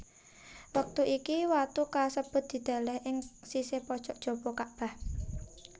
Wektu iki watu kasebut dideleh ing sisih pojok jaba Kakbah